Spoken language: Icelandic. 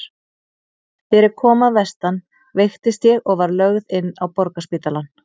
Þegar ég kom að vestan veiktist ég og var lögð inn á Borgarspítalann.